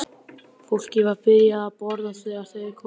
Fólkið var byrjað að borða þegar þeir komu inn.